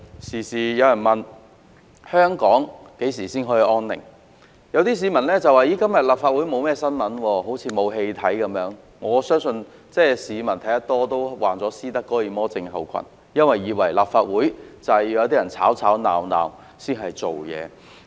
常有人問香港何時才得享安寧，有些市民也說今天沒有立法會新聞，好像沒有戲可看一般，但我相信市民看得多也會患上斯德哥爾摩症候群，以為立法會是要有些人在吵吵鬧鬧才能做事。